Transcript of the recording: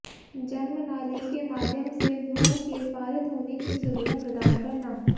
जन्म नाली के माध्यम से भ्रूण के पारित होने की सुविधा प्रदान करना